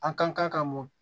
An ka kan ka mɔ